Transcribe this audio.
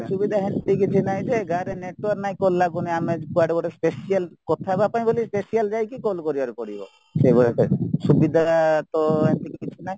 ଅସୁବିଧା ସେମିତି କିଛି ନାହିଁ ଯେ ଗାଁରେ network ନାହିଁ call ଲାଗୁନି ଆମ କୁଆଡେ ଗୋଟେ special କଥା ହେବା ପାଇଁ ବୋଲି special ଯାଇକି call କରିବାର ପଡିବ ସେଈ ଭଳିଆ type ର ସୁବିଧା ତ ସେମିତି କିଛି ନାହିଁ